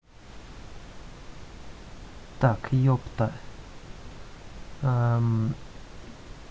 так ёпта